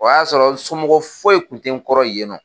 O y'a sɔrɔ n somɔgɔw foyi kun tɛ kɔrɔ yen nɔ.